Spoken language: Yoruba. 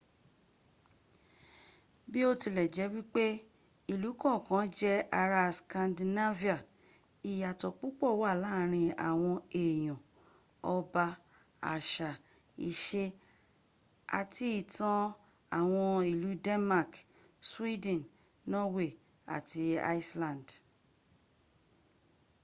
bí ó tilẹ̀jẹ́ wípé ìlú kọ̀kan jẹ́ ará 'scandinavian' ìyàtọ̀ púpọ̀ wà láàrín àwọn èèyàn ọba àṣà, ìṣe àti ìtàn àwn ìlú denmark sweden norway àti iceland